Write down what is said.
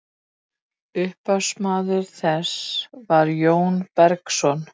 upphafsmaður þess var jón bergsson